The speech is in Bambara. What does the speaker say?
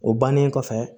O bannen kɔfɛ